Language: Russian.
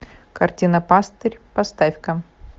картина пастырь поставь ка